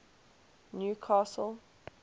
newcastle